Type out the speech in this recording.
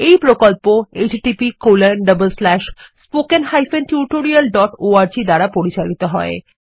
এইপ্রকল্প httpspoken tutorialorg দ্বারা পরিচালিতহয়